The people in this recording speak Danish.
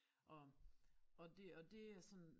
Og og det og det er sådan